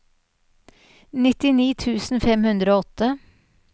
nittini tusen fem hundre og åtte